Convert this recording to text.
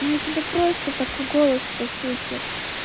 ну у тебя просто такой голос по сути